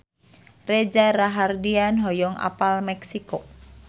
Reza Rahardian hoyong apal Meksiko